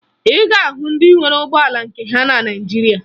Ị ga-ahụ ndị nwere ụgbọala nke ha na Naịjirịa